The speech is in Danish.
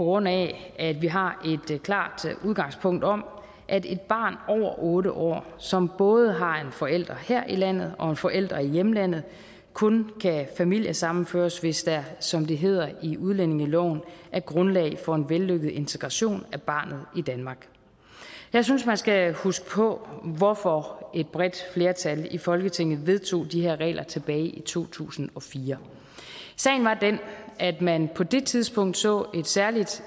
grund af at vi har et klart udgangspunkt om at et barn over otte år som både har en forælder her i landet og en forælder i hjemlandet kun kan familiesammenføres hvis der som det hedder i udlændingeloven er grundlag for en vellykket integration af barnet i danmark jeg synes man skal huske på hvorfor et bredt flertal i folketinget vedtog de her regler tilbage i to tusind og fire sagen var den at man på det tidspunkt så et særligt